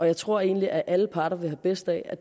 jeg tror egentlig at alle parter vil have bedst af at